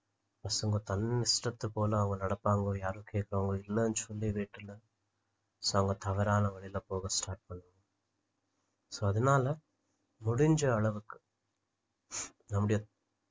பசங்க தன் இஷ்டத்து போல அவங்க நடப்பாங்க யாரும் கேக்க அவங்களுக்கு இல்லன்னு சொல்லி வீட்டுல so அவங்க தவறான வழில போக அவங்க start பண்ணுவாங்க so அதனால முடிஞ்ச அளவுக்கு நம்முடைய